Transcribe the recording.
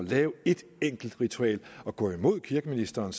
lave et enkelt ritual og gå imod kirkeministeren